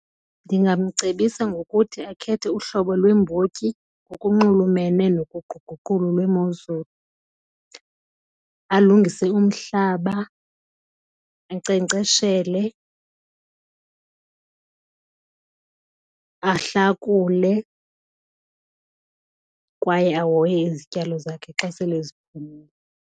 Ndingamcebisa ngokuthi akhethe uhlobo lweembotyi ngokunxulumene noguquguquko lwemozulu, alungise umhlaba, ankcenkceshele, ahlakule kwaye ahoye izityalo zakhe xa sele ziphumile.